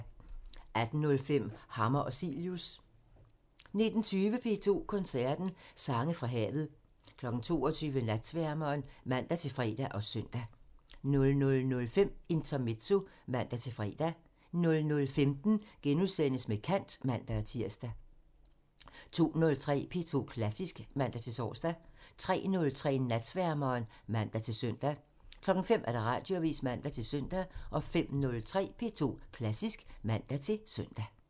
18:05: Hammer og Cilius (man) 19:20: P2 Koncerten – Sange fra havet 22:00: Natsværmeren (man-fre og søn) 00:05: Intermezzo (man-fre) 00:15: Med kant *(man-tir) 02:03: P2 Klassisk (man-tor) 03:03: Natsværmeren (man-søn) 05:00: Radioavisen (man-søn) 05:03: P2 Klassisk (man-søn)